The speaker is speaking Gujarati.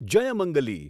જયમંગલી